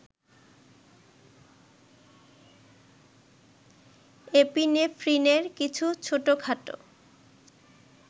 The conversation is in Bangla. এপিনেফ্রিনে কিছু ছোটখাটো